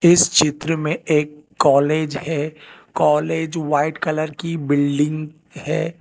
इस चित्र में एक कॉलेज है कॉलेज व्हाइट कलर की बिल्डिंग है।